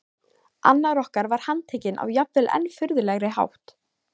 Annar okkar var handtekinn á jafnvel enn furðulegri hátt.